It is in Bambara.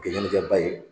Gɛnni kɛ ba ye